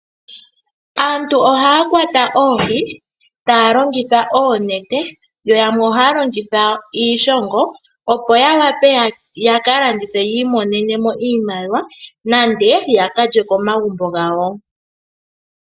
Aantu ohaa kwata oohi taa longitha oonete yo yamwe ohaa longitha iishongo opo ya wape ta ka landithe yi imonene mo iimaliwa nenge ya lye komagumbo gawo.